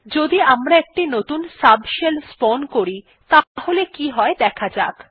যদি আমরা একটি নতুন সাবশেল স্পাউন করি তাহলে কি হয় দেখা যাক